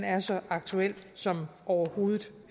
er så aktuel som overhovedet